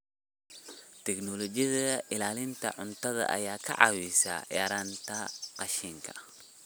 Tignoolajiyada ilaalinta cuntada ayaa kaa caawinaysa yaraynta qashinka.